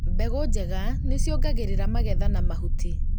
mbegũ njega nĩciongagirira magetha ma mahuti